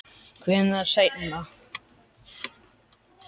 Hvenær seinna?